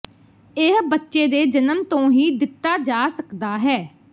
ਇਹ ਬੱਚੇ ਦੇ ਜਨਮ ਤੋਂ ਹੀ ਦਿੱਤਾ ਜਾ ਸਕਦਾ ਹੈ